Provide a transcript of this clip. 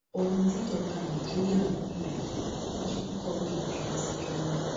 ohun tíjọba nàìjíríà ń wí rèé ni wọn ṣe kọwé ìbínú sí ghana